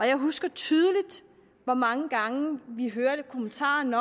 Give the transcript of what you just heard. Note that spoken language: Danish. jeg husker tydeligt hvor mange gange vi hørte kommentaren